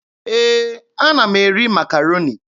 Ee, ana m eri Makaroni.